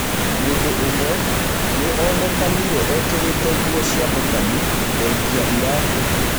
Mũndũũmwe nĩonekanĩre ekĩrĩte nguo cia Mũkami thengia iratũ.